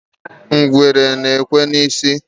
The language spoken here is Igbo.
Ngwere ekwe isi ya.